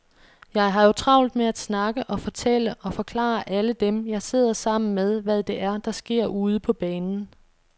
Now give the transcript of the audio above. Jeg har jo travlt med at snakke og fortælle og forklare alle dem, jeg sidder sammen med, hvad det er, der sker ude på banen.